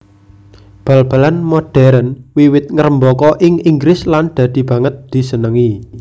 Bal balan modhèrn wiwit ngrembaka ing Inggris lan dadi banget disenengi